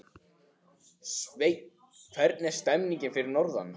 Sveinn, hvernig er stemningin fyrir norðan?